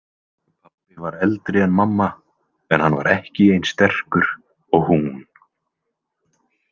Pabbi var eldri en mamma en hann var ekki eins sterkur og hún.